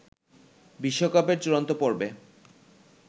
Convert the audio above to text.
বিশ্বকাপের চূড়ান্ত পর্বে